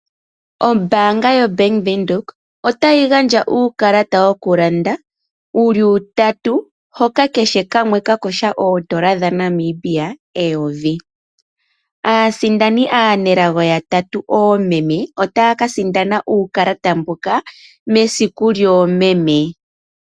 Ombanga yoBank windhoek otayi gandja uukalata wokulanda wuli utatu hoka kehe kamwe kena ongushu yondola dhaNamibia 1000. Aasindani anelago yatatu oomeme otaya ka sindana uukalata mbuno mesiku lyomeme.